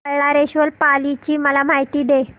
बल्लाळेश्वर पाली ची मला माहिती दे